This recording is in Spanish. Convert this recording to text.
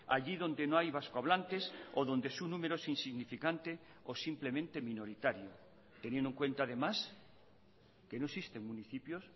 allí donde no hay vasco hablantes o donde su número es insignificante o simplemente minoritario teniendo en cuenta además que no existen municipios